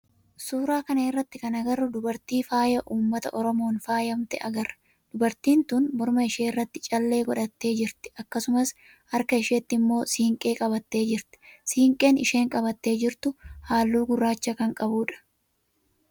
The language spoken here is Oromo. suuraa kana irratti kan agarru dubartii faaya ummata oromoon faayamte agarra. Dubartiin tun morma ishee irratti callee godhattee jirti akkasumas harka isheetti immoo siinqee qabattee jirti. siinqeen isheen qabattee jirtu halluu gurraacha kan qabudha.